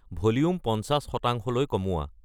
volume পঞ্চাছ শতাংশলৈ কমোৱা